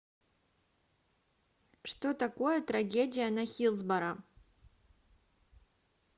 что такое трагедия на хиллсборо